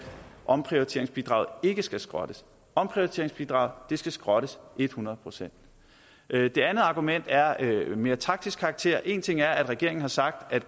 omprioriteringsbidraget ikke skal skrottes omprioriteringsbidraget skal skrottes et hundrede procent det andet argument er af mere taktisk karakter en ting er at regeringen har sagt at